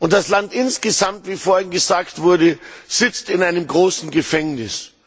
Das Land insgesamt wir vorhin gesagt wurde sitzt in einem großen Gefängnis.